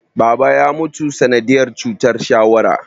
Baba ya mutu sanadiyar cutar shawara